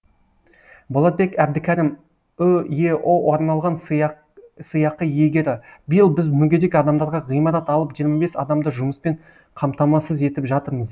болатбек әбдікәрім үеұ арналған сыйақы иегері биыл біз мүгедек адамдарға ғимарат алып жиырма бес адамды жұмыспен қамтамасыз етіп жатырмыз